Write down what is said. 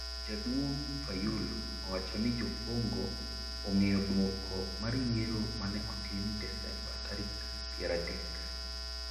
Jaduong Fayulu owacho ni jocongo ong'eyo duoko mar yiero mane otim desemba tarik piero adek.